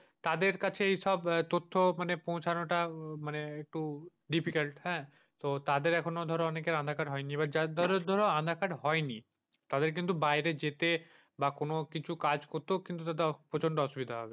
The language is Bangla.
তাদের কাছে এইসব আহ তথ্য মানে পৌঁছানোটা মানে একটু difficult হ্যাঁ? তো তাদের এখনো ধর অনেকের আধার-কার্ড হয়নি বা যার ধর ধর আধার-কার্ড হয়নি। তাদের কিন্তু বাইরে যেতে বা কোনকিছু কাজ করতে তাদের কিন্তু প্রচন্ড অসুবিধা হয়।